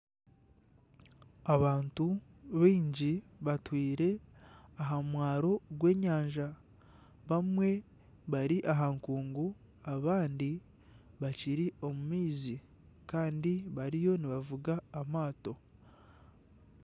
Abantu baingi batwire aha mwaro gw'enyanja bamwe bari aha nkuungu, abandi bakiri omu maizi kandi bariyo nibavuga amaato.